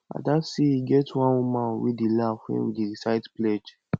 ada say e get one woman wey dey laugh wen we dey recite pledge